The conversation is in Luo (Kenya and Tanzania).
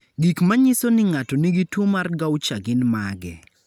Gik manyiso ni ng'ato nigi tuwo mar Gaucher gin mage?